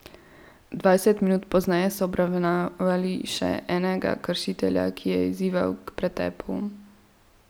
Dvajset minut pozneje so obravnavali še enega kršitelja, ki je izzival k pretepu.